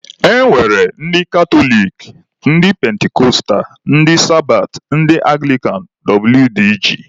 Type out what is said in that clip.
E nwere ndị katọlik, ndị pentikọstal, ndị sabat, ndị anglikan wdg.